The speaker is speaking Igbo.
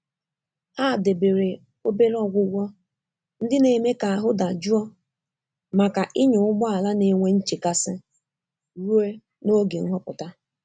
Ha debere obere ọgwụgwọ ndị na-eme ka ahụ́ dajụọ maka ịnya ụgbọ ala na-enwe nchekasị ruo n'oge nhọpụta.